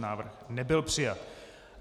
Návrh nebyl přijat.